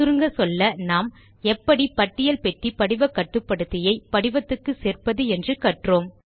சுருங்கச்சொல்ல நாம் எப்படி பட்டியல் பெட்டி படிவ கட்டுப்படுத்தியை படிவத்துக்கு சேர்ப்பது என்று கற்றோம்